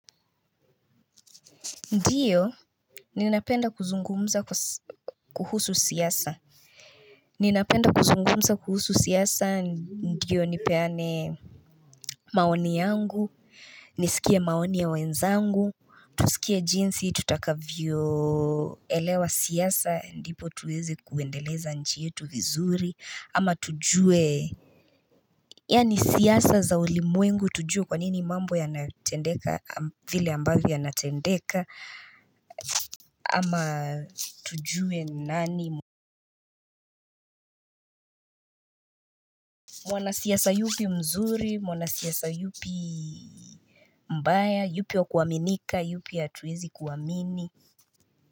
Ndiyo, ninapenda kuzungumza kuhusu siasa. Ninapenda kuzungumza kuhusu siasa ndiyo nipeane maoni yangu, nisikie maoni ya wenzangu. Tusikie jinsi, tutakavyoelewa siasa, ndipo tuweze kuendeleza nchi yetu vizuri, ama tujue yaani siasa za ulimwengu, tujue kwanini mambo yanatendeka, vile ambavyo yanatendeka ama tujue nani mwana siasa yupi mzuri. Mwana siasa yupi mbaya. Yupi wa kuaminika. Yupi hatuwezi kuamini.